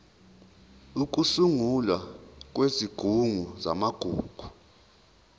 ukusungulwa kwesigungu samagugu